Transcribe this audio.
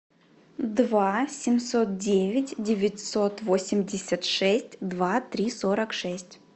два семьсот девять девятьсот восемьдесят шесть два три сорок шесть